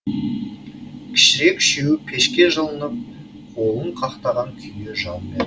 кішірек үшеуі пешке жылынып қолын қақтаған күйі жан бер